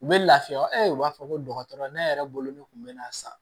U bɛ lafiya wa e b'a fɔ ko dɔgɔtɔrɔ ne yɛrɛ bolo ne tun bɛ na sa